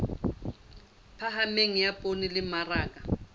phahameng ya poone le mmaraka